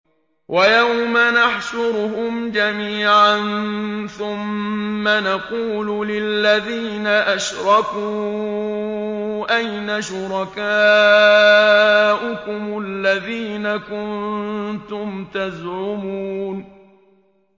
وَيَوْمَ نَحْشُرُهُمْ جَمِيعًا ثُمَّ نَقُولُ لِلَّذِينَ أَشْرَكُوا أَيْنَ شُرَكَاؤُكُمُ الَّذِينَ كُنتُمْ تَزْعُمُونَ